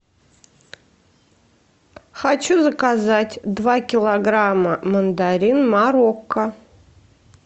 хочу заказать два килограмма мандарин марокко